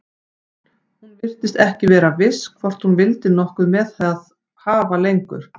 Hún virtist ekki vera viss hvort hún vildi nokkuð með það hafa lengur.